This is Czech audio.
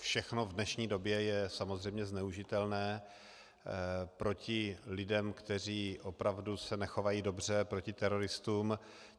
Všechno v dnešní době je samozřejmě zneužitelné proti lidem, kteří opravdu se nechovají dobře, proti teroristům.